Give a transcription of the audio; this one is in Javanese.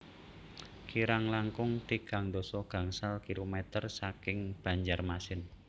Kirang langkung tigang dasa gangsal kilometer saking Banjarmasin